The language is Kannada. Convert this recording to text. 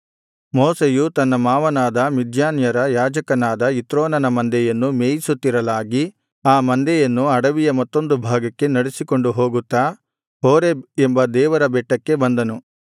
ಮೋಶೆಯು ತನ್ನ ಮಾವನಾದ ಮಿದ್ಯಾನ್ಯರ ಯಾಜಕನಾದ ಇತ್ರೋನನ ಮಂದೆಯನ್ನು ಮೇಯಿಸುತ್ತಿರಲಾಗಿ ಆ ಮಂದೆಯನ್ನು ಅಡವಿಯ ಮತ್ತೊಂದುಭಾಗಕ್ಕೆ ನಡಿಸಿಕೊಂಡು ಹೋಗುತ್ತಾ ಹೋರೇಬ್ ಎಂಬ ದೇವರ ಬೆಟ್ಟಕ್ಕೆ ಬಂದನು